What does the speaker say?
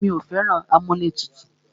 Mí ò fẹ́ràn amúlẹ̀tutù.